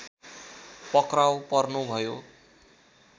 पक्राउ पर्नुभयो